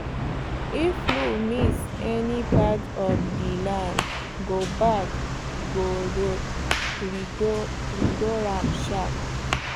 if plow miss any part of the land go back go redo am sharp